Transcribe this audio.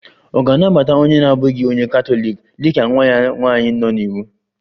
Ọ̀ ga-anabata onye na-abụghị onye Katọlik dị ka nwa ya nwanyị nọ n'iwu?